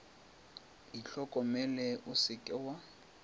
itlhokomele o se ke wa